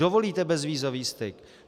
Dovolíte bezvízový styk?